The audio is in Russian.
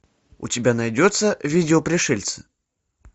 у тебя найдется видео пришельцы